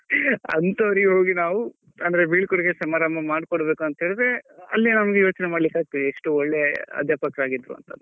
ಅಂತವ್ರಿಗೆ ಹೋಗಿ ನಾವು ಅಂದ್ರೆ ಬೀಳ್ಕೊಡುಗೆ ಸಮಾರಂಭ ಮಾಡ್ಕೊಡ್ಬೇಕು ಅಂತೆಳಿದ್ರೆ ಅಲ್ಲೇ ನಮ್ಗೆ ಯೋಚ್ನೆ ಮಾಡ್ಲಿಕ್ಕೆ ಆಗ್ತದೆ ಎಷ್ಟು ಒಳ್ಳೆಯ ಅಧ್ಯಾಪಕರಾಗಿದ್ರು ಅಂತ.